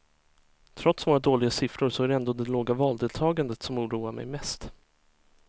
Trots våra dåliga siffror så är det ändå det låga valdeltagandet som oroar mig mest.